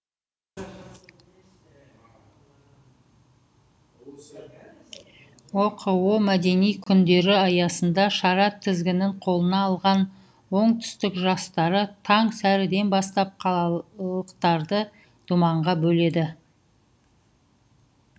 оқо мәдени күндері аясында шара тізгінін қолына алған оңтүстік жастары таң сәріден бастап қалалықтарды думанға бөледі